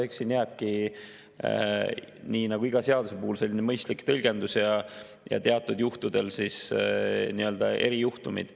Eks siin jääbki nii nagu iga seaduse puhul selline mõistlik tõlgendus ja teatud juhtudel erijuhtumid.